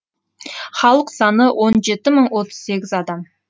халық саны он жеті мың отыз сегіз адам